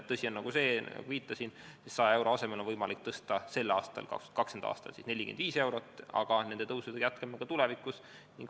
Tõsi on see, nagu ma viitasin, et 100 euro asemel on võimalik 2020. aastal pensione tõsta 45 eurot, aga nende tõusudega jätkame ka tulevikus.